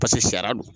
Paseke sariya don